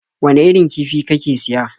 Wane irin kifi kake siya?